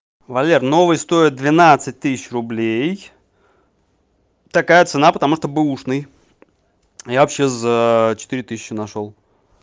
валер новый стоит двенадцать тысяч рублей такая цена потому что бэушный но я вообще за четыре тысячи нашёл